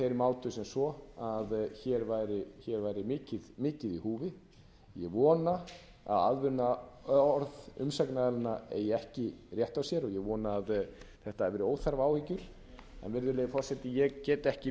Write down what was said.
mátu það svo að hér væri mikið í húfi ég vona að aðvörunarorð umsagnaraðilanna eigi ekki rétt á sér og ég vona að þetta hafi verið óþarfa áhyggjur en virðulegi forseti ég get ekki